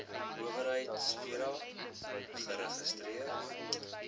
owerheid psira geregistreer